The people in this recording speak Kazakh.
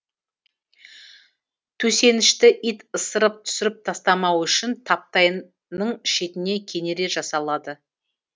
төсенішті ит ысырып түсіріп тастамауы үшін таптай ның шетіне кенере жасалады